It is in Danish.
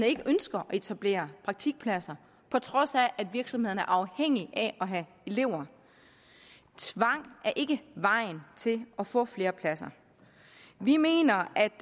ikke ønsker at etablere praktikpladser på trods af at virksomhederne er afhængige af at have elever tvang er ikke vejen til at få flere pladser vi mener at